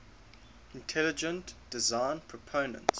intelligent design proponents